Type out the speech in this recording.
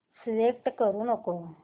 select करू नको